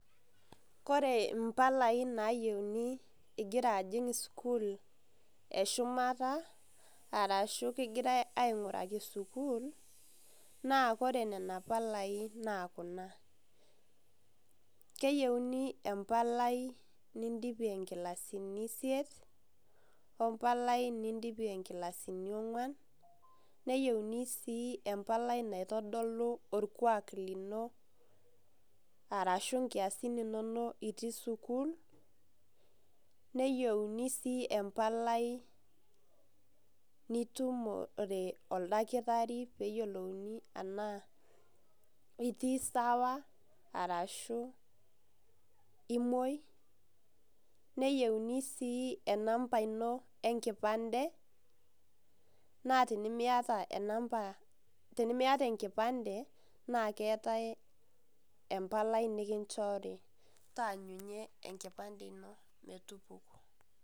Kore impalai nayeuni igira ajing sukuul eshumata arashu kegirai ainguraki sukuul naa kore nena palaii naa kuna, keyeuni impalai nindipie nkilasini isiet impalai nindipie inkilasini ongwan, neyeuni sii impalai naitodolu orkuak lino arashu nkiasin inono itii sukuul, neyeuni sii empalai nitumo te oldakitari peeyiolouni anaa itii sawa arashu imoi, neyeuni sii enamba ino enkipande naa tenimieta enamba, teniemieta enkipande naa keatae empalai nikinchori taanyunye enkipande ino metupuku.